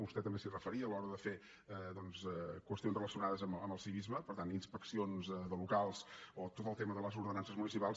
vostè també s’hi referia a l’hora de fer qüestions relacionades amb el civisme per tant inspeccions de locals o tot el tema de les ordenances municipals